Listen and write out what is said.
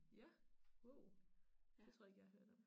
Ja wow det tror jeg ikke jeg har hørt om